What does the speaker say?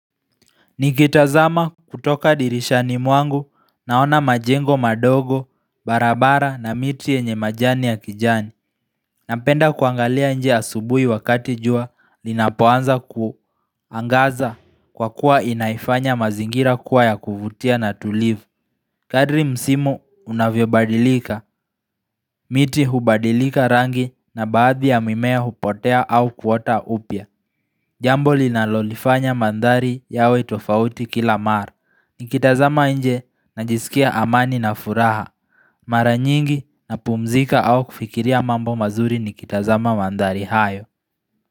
Nikitazama kutoka dirishani mwangu naona majengo madogo barabara na miti yenye majani ya kijani Napenda kuangalia nje asubui wakati jua linapuanza kuangaza kwa kuwa inaifanya mazingira kuwa ya kuvutia na tulivu Kadri msimu unavyo badilika, miti hubadilika rangi na baadhi ya mimea hupotea au kuota upya Jambo linalolifanya mandhari yawe tofauti kila mar ni kitazama nje na jisikia amani na furaha, maranyingi na pumzika au kufikiria mambo mazuri ni kitazama mandari hayo.